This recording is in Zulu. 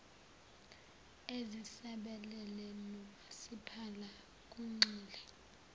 ezisabalele nomasipala kugxile